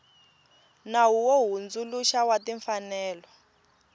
nawu wo hundzuluxa wa timfanelo